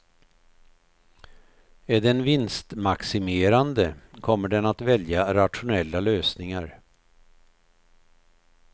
Är den vinstmaximerande, kommer den att välja rationella lösningar.